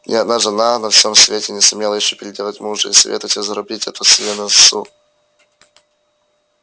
ни одна жена на всем свете не сумела ещё переделать мужа и советую тебе зарубить это себе на носу